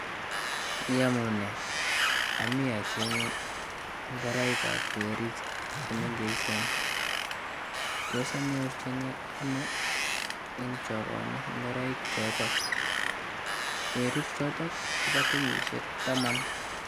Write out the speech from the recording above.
Iyamune, amii acheng'e ngoroikab weriik che mengejen. Tos anyorjini anoo eng chogoni ngoroiichoto? Werik choto kobo kenyishe taman.